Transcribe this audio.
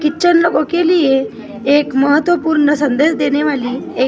Kitchen ओके लिए एक महत्वपूर्ण सन्देश देनी वाली एक।